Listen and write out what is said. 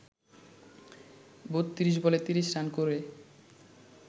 ৩২ বলে ৩০ রান করে